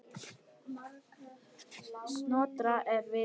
Snotra er vitur